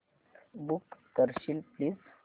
book करशील please